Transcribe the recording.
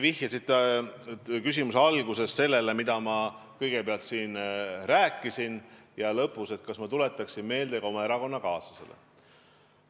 Oma küsimuse alguses te viitasite sellele, mida ma enne siin rääkisin, ja lõpus küsisite, kas ma tuletan seda erakonnakaaslastele meelde.